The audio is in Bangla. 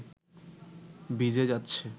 ভিজে যাচ্ছে